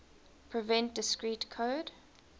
prevent discrete code